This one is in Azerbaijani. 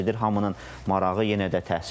Hamının marağı yenə də təhsildir.